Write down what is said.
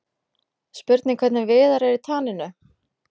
Spurning hvernig Viðar er í taninu?